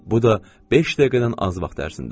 Bu da beş dəqiqədən az vaxt ərzində.